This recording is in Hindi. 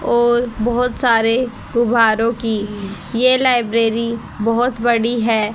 और बहोत सारे गुब्बारों की ये लाइब्रेरी बहोत बड़ी है।